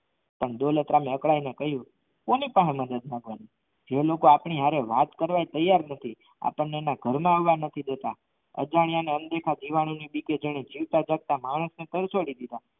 પણ દોલતરામ એ અકડાઈને કહ્યું કોની પાસે મદદ માંગવા એ લોકો આપણે હારે વાત કરવા તૈયાર નથી આપણને એના ઘરમાં આવવા નથી દેતા અજાણ્યાને અનદેખા જીવાણુ ની બીકે જીવતા જાગતા માણસ ને